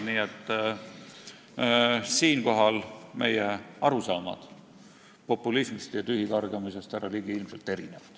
Nii et siinkohal on meie arusaamad populismist ja tühikargamisest, härra Ligi, ilmselt erinevad.